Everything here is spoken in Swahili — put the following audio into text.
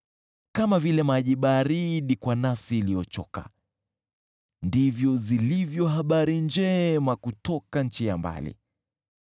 Kama vile maji baridi kwa nafsi iliyochoka ndivyo zilivyo habari njema kutoka nchi ya mbali.